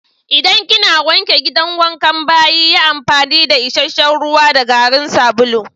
Idan kina wanke gidan wankan/bayi yi amfani da isheshe'n ruwa da garin sabulu.